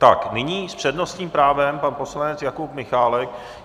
Tak nyní s přednostním právem pan poslanec Jakub Michálek.